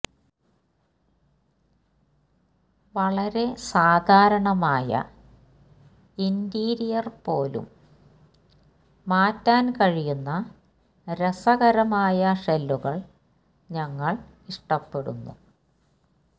വളരെ സാധാരണമായ ഇന്റീരിയർ പോലും മാറ്റാൻ കഴിയുന്ന രസകരമായ ഷെല്ലുകൾ ഞങ്ങൾ ഇഷ്ടപ്പെടുന്നു